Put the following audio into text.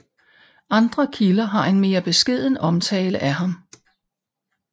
Andre kilder har en mere beskeden omtale af ham